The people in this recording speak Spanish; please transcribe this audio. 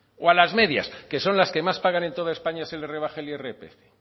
o a las medias que son las que más pagan en toda españa se les rebaje el irpf